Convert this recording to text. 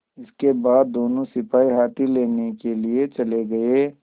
इसके बाद दोनों सिपाही हाथी लेने के लिए चले गए